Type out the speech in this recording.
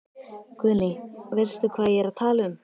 Guðný: Veistu hvað ég er að tala um?